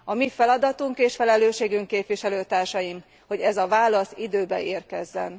A mi feladatunk és felelősségünk, képviselőtársaim, hogy ez a válasz időben érkezzen.